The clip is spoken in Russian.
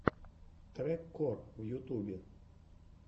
трек кор в ютубе